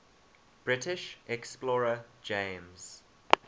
british explorer james